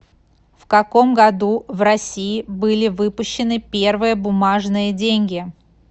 в каком году в россии были выпущены первые бумажные деньги